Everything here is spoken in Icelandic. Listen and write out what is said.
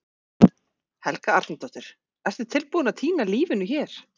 Helga Arnardóttir: Ertu tilbúinn að týna lífinu hér?